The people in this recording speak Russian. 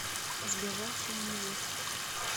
сбежавшая невеста